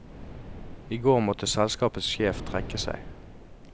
I går måtte selskapets sjef trekke seg.